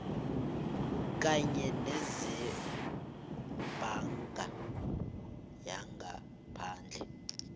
kanye nezebhanka yangaphandle